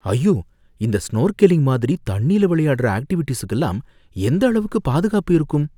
ஐயோ! இந்த ஸ்நோர்கெலிங் மாதிரி தண்ணில விளையாடுற ஆக்ட்டிவிட்டீஸுக்குலாம் எந்த அளவுக்கு பாதுகாப்பு இருக்கும்?